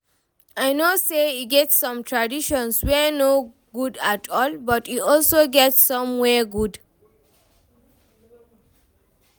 I know say e get some traditions wey no good at all, but e also get some wey good